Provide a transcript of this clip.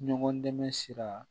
Ɲɔgɔn dɛmɛ sira